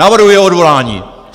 Navrhuji jeho odvolání.